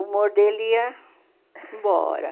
o humor dele ia embora.